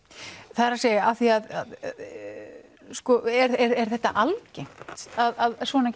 það er að af því að er þetta algengt að svona